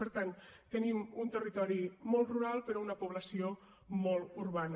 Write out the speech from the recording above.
per tant tenim un territori molt rural però una població molt urbana